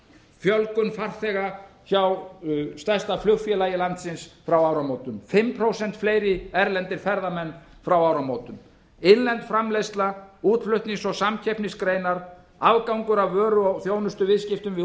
fjölgun farþega hjá stærsta flugfélagi landsins frá áramótum fimm prósent fleiri erlendir ferðamenn frá áramótum innlend framleiðsla útflutnings og samkeppnisgreinar afgangur af vöru og þjónustuviðskiptum við